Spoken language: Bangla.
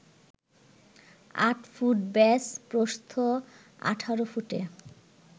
৮ ফুট ব্যাস, প্রস্থ ১৮ ফুটে